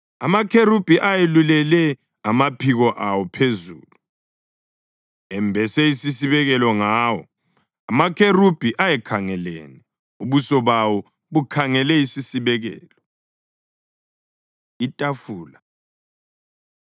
Amakherubhi ayelulele amaphiko awo phezulu, embese isisibekelo ngawo. Amakherubhi ayekhangelene, ubuso bawo bukhangele isisibekelo. Itafula